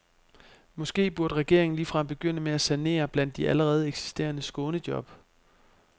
Måske burde regeringen ligefrem begynde med at sanere blandt de allerede eksisterende skånejob.